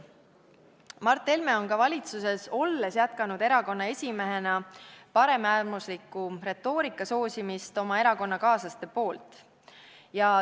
Mart Helme on valitsuses olles jätkanud erakonna esimehena oma erakonnakaaslaste paremäärmusliku retoorika soosimist.